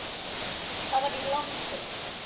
Það var í landi